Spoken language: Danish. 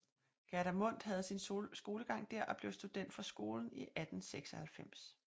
Gerda Mundt havde sin skolegang der og blev student fra skolen i 1896